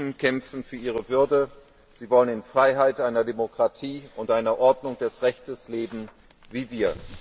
Die Menschen kämpfen für ihre Würde, sie wollen in Freiheit, in einer Demokratie und in einer Ordnung des Rechts leben wie wir.